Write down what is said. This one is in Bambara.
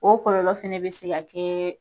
O kɔlɔlɔ fɛnɛ be se ka kɛ